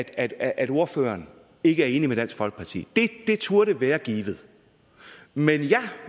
at at ordføreren ikke er enig med dansk folkeparti det turde være givet men jeg